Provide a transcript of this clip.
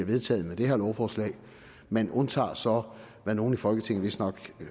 vedtaget med det her lovforslag man undtager så hvad nogle i folketinget vist nok